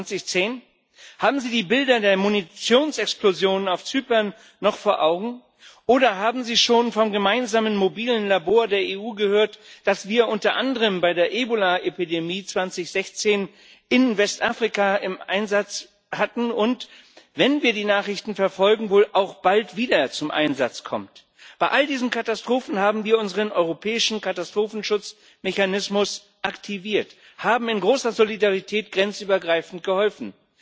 2010? Haben Sie die Bilder der Munitionsexplosionen auf Zypern noch vor Augen? Oder haben Sie schon vom gemeinsamen mobilen Labor der EU gehört, das wir unter anderem bei der Ebola Epidemie 2016 in Westafrika im Einsatz hatten und das wenn wir die Nachrichten verfolgen wohl auch bald wieder zum Einsatz kommt? Bei all diesen Katastrophen haben wir unseren europäischen Katastrophenschutzmechanismus aktiviert, haben in großer Solidarität grenzübergreifend geholfen.